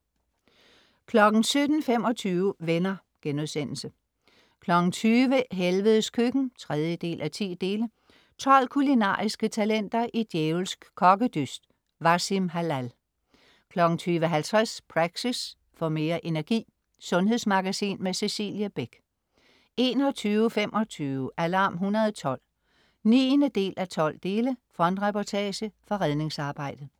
17.25 Venner* 20.00 Helvedes Køkken 3:10. 12 kulinariske talenter i djævelsk kokkedyst. Wassim Hallal 20.50 Praxis. Få mere energi. Sundhedsmagasin med Cecilie Beck 21.25 Alarm 112 9:12. Frontreportage fra redningsarbejdet